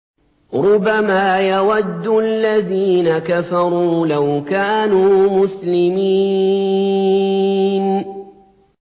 رُّبَمَا يَوَدُّ الَّذِينَ كَفَرُوا لَوْ كَانُوا مُسْلِمِينَ